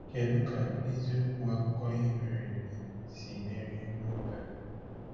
Kedu ka eziokwu akụkọ ihe mere eme siri meri n’oge a?